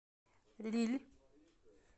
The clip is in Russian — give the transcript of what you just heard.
лилль